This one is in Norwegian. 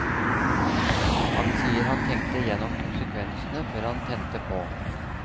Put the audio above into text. Han sier han tenkte gjennom konsekvensene før han tente på.